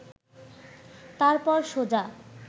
তারপর সোজা